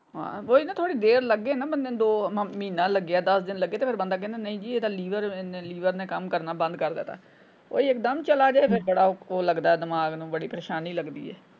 ਹਾਂ ਓਹੀ ਨਾ ਥੋੜੀ ਦੇਰ ਲੱਗੇ ਨਾ ਬੰਦੇ ਨੂੰ ਦੋ ਮਹੀਨਾ ਲੱਗੇ ਦੱਸ ਦਿਨ ਲੱਗੇ ਫੇਰ ਬੰਦਾ ਕਹਿੰਦਾ ਨਹੀਂ ਜੀ ਇਹਦਾ ਲੀਵਰ ਲੀਵਰ ਨੇ ਕੰਮ ਕਰਨਾ ਬੰਦ ਕਰ ਦਿੱਤਾ ਕੋਈ ਇੱਕਦਮ ਚਲਾ ਜਾਏ ਤੇ ਫੇਰ ਬੜਾ ਲਗਦਾ ਉਹ ਦਿਮਾਗ ਨੂੰ ਬੜੀ ਪ੍ਰੇਸ਼ਾਨੀ ਲਗਦੀ ਏ।